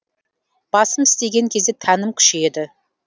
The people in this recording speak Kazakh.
басым істеген кезде тәнім күшейеді